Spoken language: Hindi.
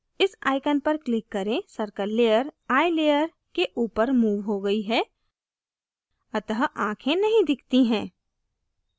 इस icon पर click करें circle layer eye layer के ऊपर moved हो गयी है अतः आखें नहीं दिखती हैं